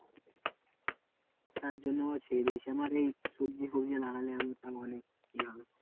তার জন্য ছেড়ে দিয়েছি, আমার এই সবজি ফবজি আনাজের তাও অনেক ইয়ে হবে।